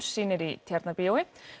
sýnir í Tjarnarbíói